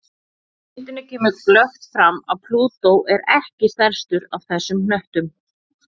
Á myndinni kemur glöggt fram að Plútó er ekki stærstur af þessum hnöttum.